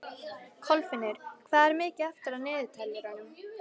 Kolfinnur, hvað er mikið eftir af niðurteljaranum?